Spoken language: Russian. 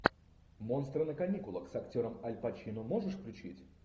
монстры на каникулах с актером аль пачино можешь включить